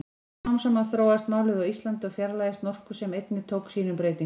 Smám saman þróast málið á Íslandi og fjarlægist norsku sem einnig tók sínum breytingum.